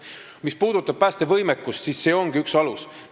Mis puudutab päästevõimekust, siis see ongi üks alus.